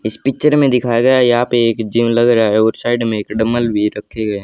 इस पिक्चर में दिखाया गया यहां पे एक जिम लग रहा है और साइड में एक डंबल भी रखे गए--